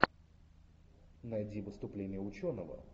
найди выступление ученого